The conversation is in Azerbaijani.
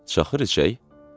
Şaxır içək.